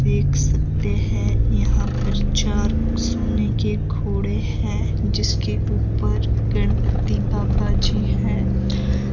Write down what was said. देख सकते हैं यहां पर चार सोने के घोड़े हैं जिसके ऊपर गणपति बाबा जी है।